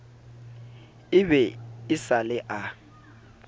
e be e sale a